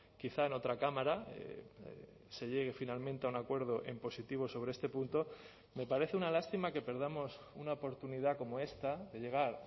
quizá en otra cámara se llegue finalmente a un acuerdo en positivo sobre este punto me parece una lástima que perdamos una oportunidad como esta de llegar